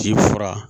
Ci fura